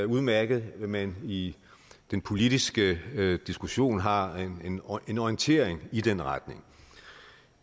udmærket at man i den politiske diskussionen har en orientering i den retning